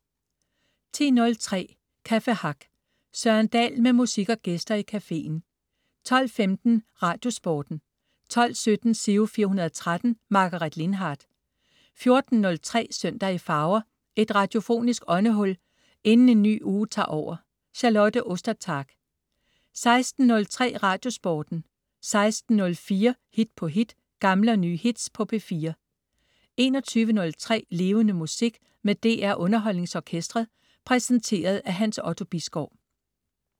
10.03 Café Hack. Søren Dahl med musik og gæster i cafeen 12.15 Radiosporten 12.17 Giro 413. Margaret Lindhardt 14.03 Søndag i farver. Et radiofonisk åndehul inden en ny uge tager over. Charlotte Ostertag 16.03 Radiosporten 16.04 Hit på hit. Gamle og nye hits på P4 21.03 Levende Musik med DR UnderholdningsOrkestret. Præsenteret af Hans Otto Bisgaard